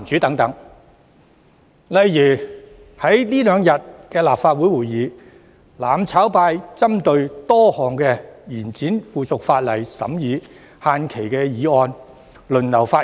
在這兩天的立法會會議上，"攬炒派"針對多項延展附屬法例審議限期的議案輪流發言。